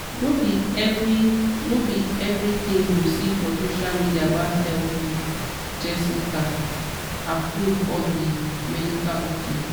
no be every no be every thing you see for social media about health be jessica-approved or be medical ok.